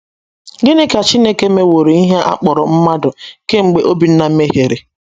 Gịnị ka Chineke mewooro ihe a kpọrọ mmadụ kemgbe Obinna mehiere?